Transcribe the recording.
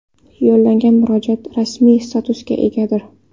Yo‘llangan murojaat rasmiy statusga egadir.